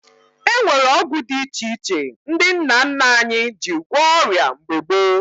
E nwere ọgwụ dị iche iche ndị nna nna anyị ji gwọọ ọrịa mgbe gboo